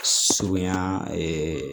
Surunya